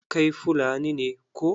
Kai Fulani ne koh?